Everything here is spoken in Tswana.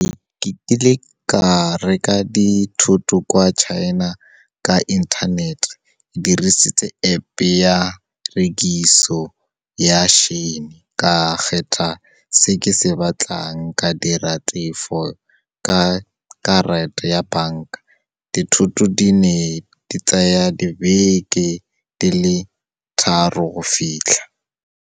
Ke kile ka reka dithoto kwa China ka inthanete, ke dirisitse App ya rekiso ya Shein. Ka khetha se ke se batlang, ka dira tefo ka karata ya bank-a. Dithoto di ne di tsaya dibeke di le tharo go fitlha.